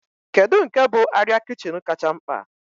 Kedu nke bụ arịa kichin kacha mkpa?